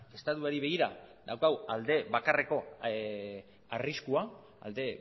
estatuari begira daukagu alde bakarreko arriskua alde